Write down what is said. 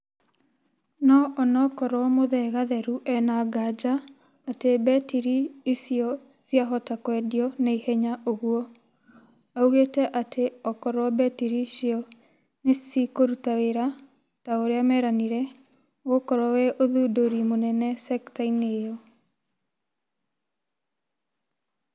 No onokorwo Muthee Gatheru ena nganja atĩ mbetiri icio ciahota kwendio naihenya ũguo ,augĩte atĩ okorwo mbetiri icio nĩcikũruta wĩra ta ũrĩa meranĩĩre, ũgũkorwo wĩ ũthundũri mũnene sekta-inĩ ĩyo